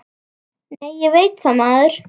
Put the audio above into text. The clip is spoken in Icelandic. Nei, ég veit það, maður!